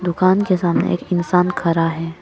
दुकान के सामने एक इंसान खड़ा है।